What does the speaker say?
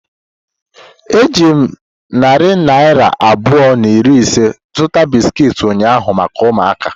Eji m narị naira abụọ na iri ise zụta bisiki ụnyahụ maka ụmụaka.